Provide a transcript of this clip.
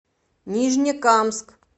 нижнекамск